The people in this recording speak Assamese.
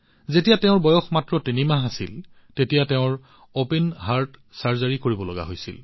যেতিয়া তাইৰ বয়স মাত্ৰ তিনি মাহ আছিল তাইৰ অপেন হাৰ্ট অস্ত্ৰোপচাৰ কৰিবলগীয়া হৈছিল